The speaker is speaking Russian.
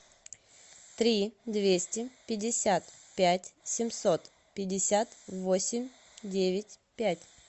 три двести пятьдесят пять семьсот пятьдесят восемь девять пять